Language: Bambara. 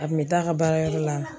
A kun be t'a ka baarayɔrɔ la